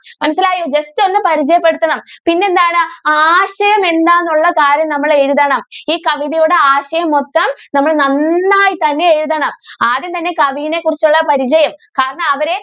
മനസ്സിലായോ? ജസ്റ്റ് ഒന്ന് പരിചയപെടുത്തണം പിന്നെ എന്താണ് ആശയം എന്താണ് എന്നുള്ള കാര്യം നമ്മൾ എഴുതണം ഈ കവിതയുടെ ആശയം മൊത്തം നമ്മൾ നന്നായി തന്നെ എഴുതണം. ആദ്യം തന്നെ കവിനെ കുറിച്ചുള്ള പരിചയം. കാരണം അവർ